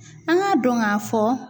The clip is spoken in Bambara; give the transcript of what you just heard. An k'a dɔn k'a fɔ.